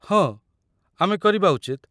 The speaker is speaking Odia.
ହଁ, ଆମେ କରିବା ଉଚିତ।